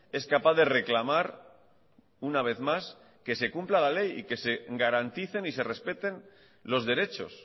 es capaz de reclamar una vez más que se cumpla la ley y que se garanticen y se respeten los derechos